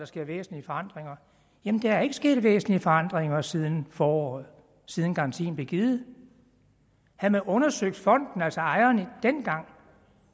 sker væsentlige forandringer jamen der er ikke sket væsentlige forandringer siden foråret siden garantien blev givet havde man undersøgt fonden altså ejerne dengang